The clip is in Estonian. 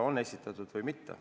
Hanno Pevkur, palun!